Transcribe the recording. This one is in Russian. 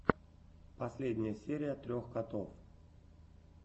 последняя серия трех котов